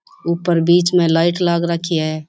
ऊपर बिच में लाइट लाग रखी है।